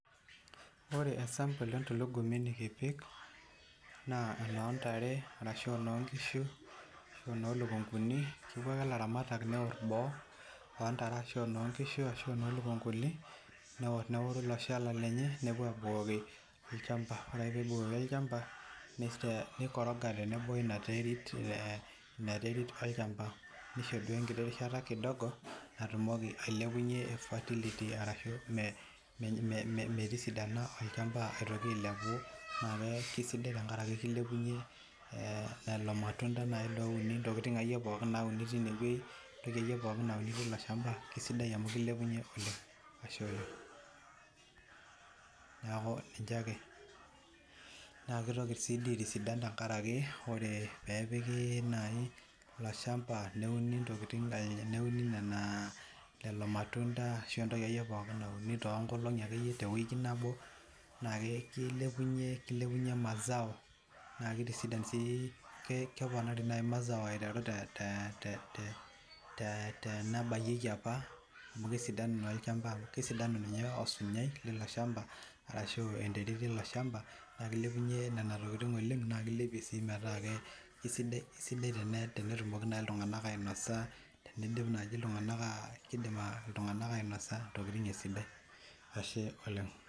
Oree esampol ee ntulugumi nekiimpim naa enoo ntare arashu aa enoo noishu arashu enoo likunkuni kepu ake ilaramatak newor boo oo ntare arashu enoo nkishu ashuu enoo lukunkuni neworu ilo shala lenye nepuo abukoki olchampa oree ake pee ebukokini olchampa nei koroga teneboo weina terit Ina terit olchampa neishori enkiti rishata  kidogo natumoki alepunye fertility arashu metisidana olchampa aitoki ailepu naa keisidai tenkaraki keilepunye lelo matunta nayii louni intokiting' akee iye nauni twine wei entoki ake iye nauni teilo shampa kesidai amu keilepunye oleng' neeku ninche ake naa keitoki sii dii aitasidan tenkaraki ore peepiki nayii ilo shampa neuni intokiting' nenaa lelo matunta ashuu ake iye entoki pooki nauni tookolong'i ake iye tewiki nabo naa keilepunye mazao naa keitisidan sii kepona rinayii mazao aiteru tee nabayieki apa amu kesidanu naa olchampa kesidanu ninye osunyai leilo shampa arashu enterit eilo shapa naa keilepunye Nena tokiting' oleng' naa keilepia siii metaa kesidai tenetunoki iltung'anak ainosa teneidim naji keidim iltung'anak ainosa intokiting' esidai Ashe oleng'.